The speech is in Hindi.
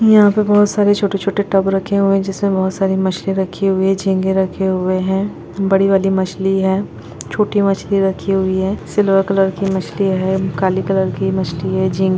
यहाँ पे बहुत सारे छोटे छोटे टब रखे हुए है जिसमें बहोत सारी मछलियां रखी हुई है झींगे रखे हुए है बडी वाली मछली है छोटी मछली रखी हुई है सिल्वर कलर की मछली है काले कलर की मछली है झी--